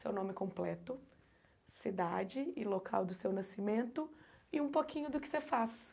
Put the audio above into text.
Seu nome completo, cidade e local do seu nascimento e um pouquinho do que você faz.